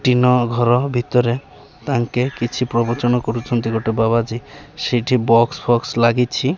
Tin ଘର ଭିତରେ ତାଙ୍କେ କିଛି ପ୍ରବଚନ କରୁଛନ୍ତି ଗୋଟେ ବାବାଜୀ ସେଇଠି ବକ୍ସ ଫକ୍ସ ଲାଗିଛି।